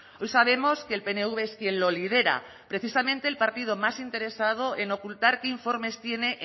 hoy sabemos que el pnv es quien lo lidera precisamente el partido más interesado en ocultar qué informes tiene